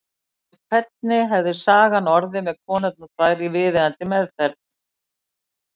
En hvernig hefði sagan orðið með konurnar tvær í viðeigandi meðferð?